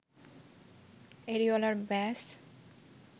areolar ব্যাস